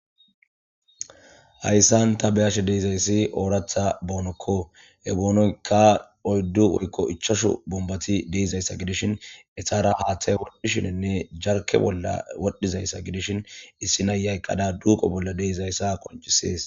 Hayssan ta beyashe deizayssi ooratha boonokko he boonoyka oyddu woykko ichashu bumbati deizayssa gidishin esara haaththay wodhishininne jarke bolla wodhizayssa gidishin issi nayyayqqada duuqo bolla deeizayssa qonchisees